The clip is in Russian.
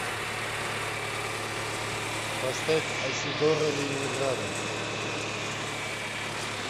поставь айседора ленинграда